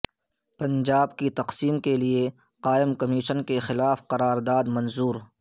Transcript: پنجاب کی تقسیم کے لیے قائم کمیشن کے خلاف قرار داد منظور